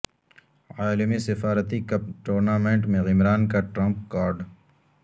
عالمی سفارتی cup tournament میں عمران کا ٹرمپ کارڈ